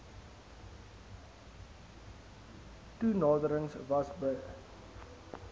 toenaderings was b